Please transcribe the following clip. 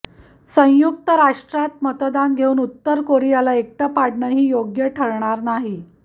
संयुक्त राष्ट्रांत मतदान घेऊन उत्तर कोरियाला एकटं पाडणंही योग्य ठरणार नाही